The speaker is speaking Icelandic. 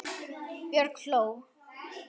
Björg hló.